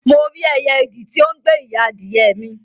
Mo rí ẹyẹ idì ti o n gbe ìyá adìyẹ mi